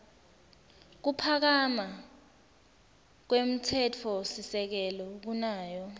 kuphakama kwemtsetfosisekelo kunayo